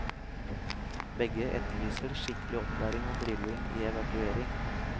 Begge etterlyser skikkelig opplæring og drilling i evakuering.